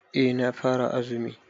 Eh na fara azumi.